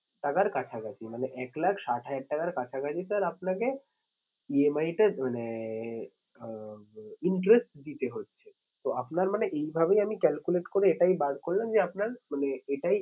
টাকার কাছাকাছি মানে এক লাখ ষাট হাজার টাকার কাছাকাছি sir আপনাকে EMI টা মানে আহ interest দিতে হচ্ছে। তো আপনার মানে এইভাবেই আমি calculate করে এটাই বার করলাম যে আপনার মানে এটাই